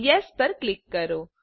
yes પર click કરો